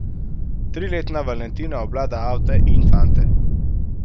Triletna Valentina obvlada avte in fante.